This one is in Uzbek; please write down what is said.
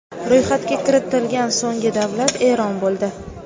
Ro‘yxatga kiritilgan so‘nggi davlat Eron bo‘ldi.